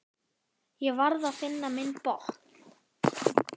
Ég varð að finna minn botn.